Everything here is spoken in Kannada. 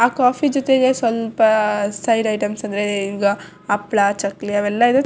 ಆ ಕಾಫೀ ಜೊತೆಗೆ ಸ್ವಲ್ಪ ಸೈಡ್ ಐಟಮ್ಸ್ ಅಂದ್ರೆ ಹಪ್ಪಳ ಚಕ್ಕಲಿ ಅವೆಲ್ಲ ಇರತ್.